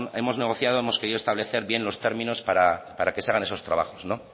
hemos negociado hemos querido establecer bien los términos para que se hagan esos trabajos